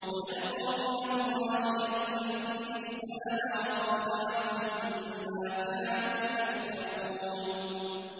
وَأَلْقَوْا إِلَى اللَّهِ يَوْمَئِذٍ السَّلَمَ ۖ وَضَلَّ عَنْهُم مَّا كَانُوا يَفْتَرُونَ